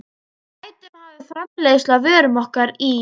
Við gætum hafið framleiðslu á vörum okkar í